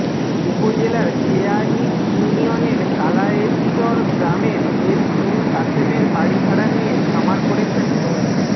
উপজেলার কেয়াইন ইউনিয়নের কালায়েরচর গ্রামের এস এম কাশেমের বাড়ি ভাড়া নিয়ে খামার করেছেন মো